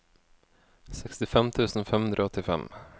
sekstifem tusen fem hundre og åttifem